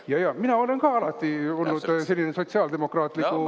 Jajaa, mina olen ka alati olnud sellise sotsiaaldemokraatliku …